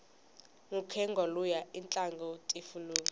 mukhegwa luya itlanga tifilimu